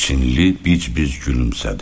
Çinli bic-bic gülümsədi.